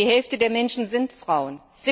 Denn die Hälfte der Menschen sind Frauen.